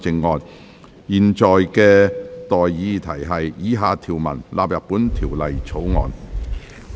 我現在向各位提出的待議議題是：以下條文納入本條例草案。